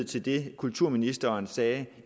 til det kulturministeren sagde